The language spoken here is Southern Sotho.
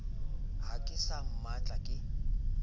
ha ke sa mmatla ke